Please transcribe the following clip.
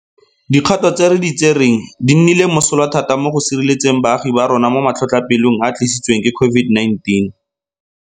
Dikgato tse re di tsereng di nnile mosola thata mo go sireletseng baagi ba rona mo matlhotlhapelong a a tlisi tsweng ke COVID-19.